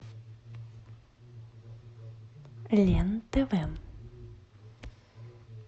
лен тв